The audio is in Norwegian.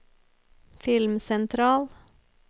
filmsentral